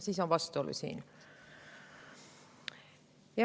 Siin on vastuolu.